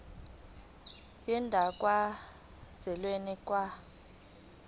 yendawo kazwelonke ka